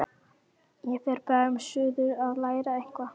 Ég fer bráðum suður að læra eitthvað.